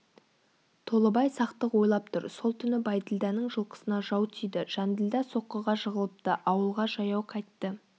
толыбай сақтық ойлап тұр сол түні бәйділданың жылқысына жау тиді жанділда соққыға жығылыпты ауылға жаяу қайтты